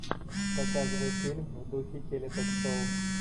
показывай фильм в духе теле ток шоу